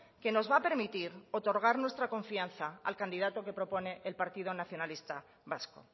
que nos va a permitir otorgar nuestra confianza al candidato que propone el partido nacionalista vasco